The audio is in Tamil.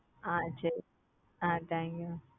ah thank you mam